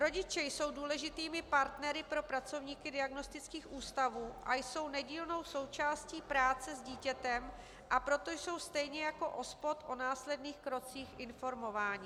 Rodiče jsou důležitými partnery pro pracovníky diagnostických ústavů a jsou nedílnou součástí práce s dítětem, a proto jsou stejně jako OSPOD o následných krocích informováni.